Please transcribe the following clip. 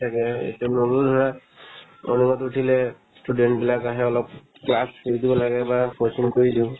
তাকে এতিয়া নগ'লো ধৰা morning ত উঠিলে student বিলাক আহে অলপ class কৰি দিব লাগে বা couching কৰি দিও